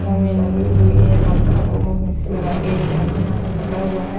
मुंह में लगी हुई है मक्खा को मुंह में से लगा के एक आदमी हाथ में पकड़ा हुआ है।